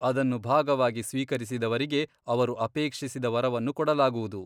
ಅದನ್ನು ಭಾಗವಾಗಿ ಸ್ವೀಕರಿಸಿದವರಿಗೆ ಅವರು ಅಪೇಕ್ಷಿಸಿದ ವರವನ್ನು ಕೊಡಲಾಗುವುದು.